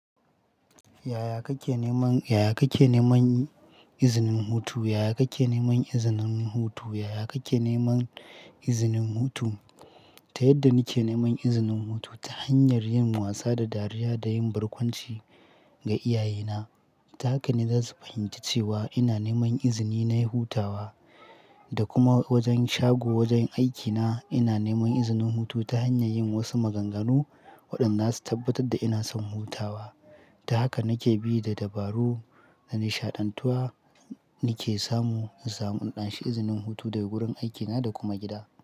Yaya kake neman, yaya kake neman izinin hutu? Yaya kake neman izinin hutu? Yaya kake neman izinin hutu? Ta yadda nike neman izinin hutu ta hanyar yin wasa da dariya da yin barkwanci ga iyayena, ta haka ne za su fahimci cewa ina neman izini na yin hutawa. Da kuma wajen shago wajen aikina ina neman izinin hutu ta hanyar yin wasu maganganu waɗanda za su tabbatar da ina son hutawa. Ta haka nake bi da dabaru da nishaɗantuwa nake samu na samu in anshi izinin hutu daga wurin aikina da kuma gida.